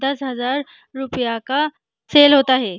दस हजार रुपया का सेल होता हैं।